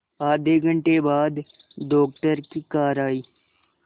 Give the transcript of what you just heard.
आधे घंटे बाद डॉक्टर की कार आई